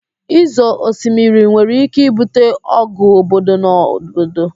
Ịzọ osimiri nwere ike ibute ọgụ obodo na obodo